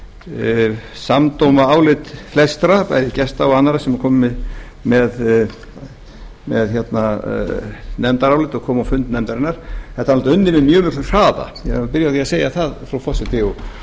svona samdóma álit flestra bæði gesta og annarra sem komu með nefndarálit og komu á fund nefndarinnar að þetta er unnið með mjög miklum hraða ég vil byrja á því að segja það frú forseti og ég er